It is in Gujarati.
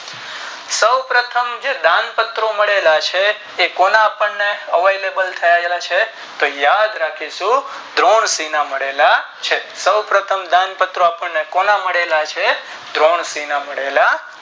સૌપ્રથમ જે બાણ પ્રતો મળેલા છે કોના પાર avelebal કરવામાં આવ્યા છે તો યાદ રાખીશું દ્દ્રોણકીના મળેલા છે સો પ્રથમ દાનપત્રો કોને મળેલા છે દરોટીના ના મળેલા છે